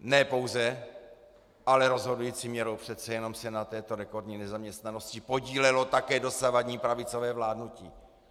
Ne pouze, ale rozhodující měrou přece jenom se na této rekordní nezaměstnanosti podílelo také dosavadní pravicové vládnutí.